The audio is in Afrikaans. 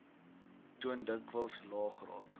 toon dikwels laegraad